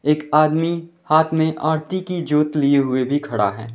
एक आदमी हाथ में आरती की ज्योत लिए हुए भी खड़ा है।